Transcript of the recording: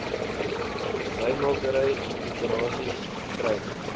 wynmakery operasies kry